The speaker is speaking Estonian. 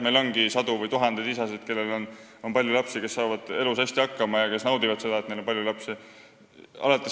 Meil ongi sadu või tuhandeid isasid, kellel on palju lapsi, kes saavad elus hästi hakkama ja kes naudivad seda, et neil on palju lapsi.